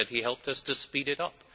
I said he helped us to speed it up.